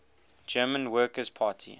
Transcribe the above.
german workers party